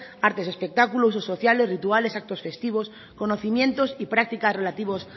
artes y espectáculos clubs sociales rituales actos festivos conocimientos y prácticas relativas